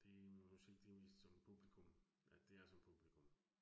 Det musik det mest som publikum. Ja, det er som publikum